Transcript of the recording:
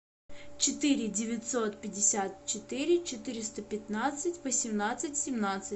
четыре девятьсот пятьдесят четыре четыреста пятнадцать восемнадцать семнадцать